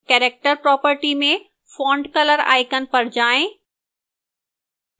character property में font color icon पर जाएं